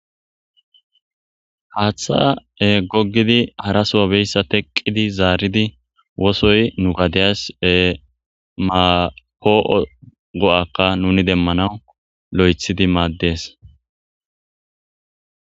Hatha gogidinne haraso beizaysa teqidi zaridi wosoyi nu gadiya po'o ga'aka nu demanas lothi lo'oko